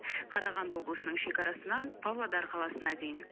қарағанды облысының шекарасынан павлодар қаласына дейін